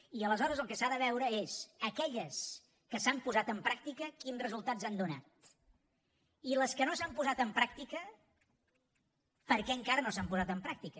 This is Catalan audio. i aleshores el que s’ha de veure és aquelles que s’han posat en pràctica quins resultats han donat i les que no s’han posat en pràctica per què encara no s’han posat en pràctica